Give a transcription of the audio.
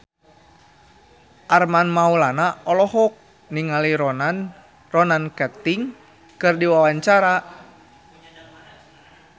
Armand Maulana olohok ningali Ronan Keating keur diwawancara